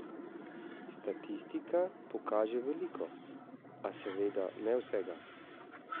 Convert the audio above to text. Statistika pokaže veliko, a seveda ne vsega.